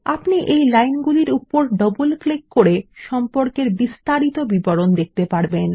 আপনি এই লাইন গুলির উপর ডবল ক্লিক করে সম্পর্কের বিস্তারিত বিবরণ দেখতে পারবেন